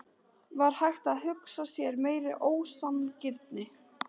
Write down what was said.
Var hægt að hugsa sér meiri ósanngirni?